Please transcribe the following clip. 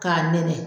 K'a nɛnɛ